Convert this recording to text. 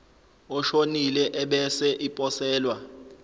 oshonile ebese iposelwa